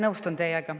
Nõustun teiega.